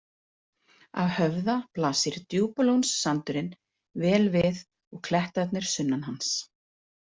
Af Höfða blasir Djúpalónssandurinn vel við og klettarnir sunnan hans.